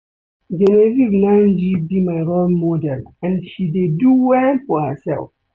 Genevieve Nnaji be my role model and she dey do well for herself